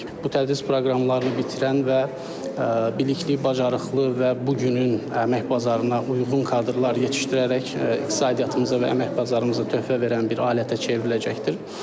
Bu tədris proqramlarını bitirən və bilikli, bacarıqlı və bu günün əmək bazarına uyğun kadrlar yetişdirərək iqtisadiyyatımıza və əmək bazarımıza töhfə verən bir alətə çevriləcəkdir.